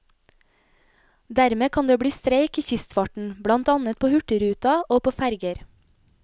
Dermed kan det bli streik i kystfarten, blant annet på hurtigruta, og på ferger.